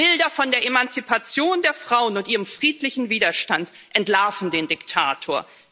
Die Bilder von der Emanzipation der Frauen und ihrem friedlichen Widerstand entlarven den Diktator.